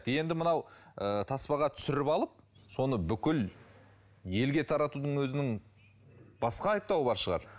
енді мынау ы таспаға түсіріп алып соны бүкіл елге таратудың өзінің басқа айыптауы бар шығар